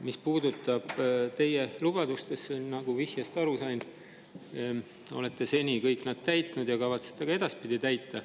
Mis puudutab teie lubadusi, siis nagu ma vihjest aru sain, olete te neid kõiki seni täitnud ja kavatsete ka edaspidi täita.